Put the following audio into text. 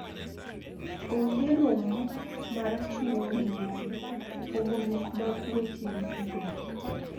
Onge rom mar chwo gi mon, pogruok mag weche yuto,